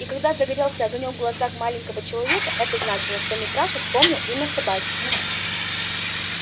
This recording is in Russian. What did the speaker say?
и когда загорелся огонёк в глазах маленького человека это значило что митраша вспомнил имя собаки